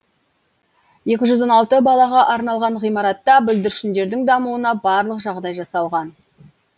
екі жүз он алты балаға арналған ғимаратта бүлдіршіндердің дамуына барлық жағдай жасалған